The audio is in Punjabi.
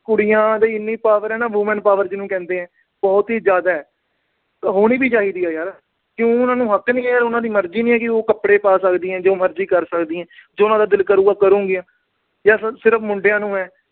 ਕੁੜੀਆਂ ਦੀ ਇੰਨੀ power ਆ, women power ਜਿਹਨੂੰ ਕਹਿੰਦੇ ਆ। ਬਹੁਤ ਈ ਜਿਆਦਾ। ਹੋਣੀ ਵੀ ਚਾਹੀਦੀ ਆ, ਕਿਉਂ ਉਹਨਾਂ ਦਾ ਹੱਕ ਨੀ ਹੈਗਾ, ਉਹਨਾਂ ਦੀ ਮਰਜੀ ਨੀ ਹੈਗੀ ਕਿ ਉਹ ਕੱਪੜੇ ਪਾ ਸਕਦੀਆਂ, ਉਹ ਜੋ ਮਰਜੀ ਕਰ ਸਕਦੀਆਂ। ਜੋ ਉਹਨਾਂ ਦਾ ਦਿਲ ਕਰੂਗਾ, ਕਰੂਗੀਆਂ, ਜਾਂ ਸਿਰਫ ਮੁੰਡਿਆ ਨੂੰ ਆ।